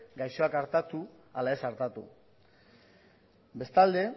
gaixoak artatu ala ez artatu bestalde